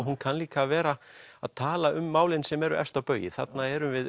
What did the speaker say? hún kann líka að vera að tala um málin sem eru efst á baugi þarna erum við